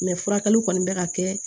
Mɛ furakɛliw kɔni bɛ ka kɛ